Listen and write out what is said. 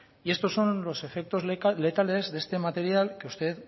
y estos son los efectos letales de este material que usted